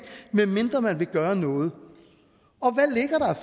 medmindre man vil gøre noget